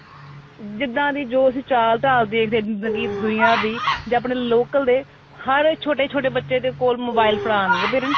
ਜਿੱਦਾਂ ਵੀ ਜੋ ਅਸੀਂ ਚਾਲ ਢਾਲ ਦੇਖਦੇ ਜਿੱਦਾਂ ਕੀ ਦੁਨਿਆ ਦੀ ਜੇ ਆਪਣੇ local ਦੇ ਹਰ ਛੋਟੇ ਛੋਟੇ ਬੱਚੇ ਦੇ ਕੋਲ mobile ਫੜਾ ਦਿੰਦੇ parents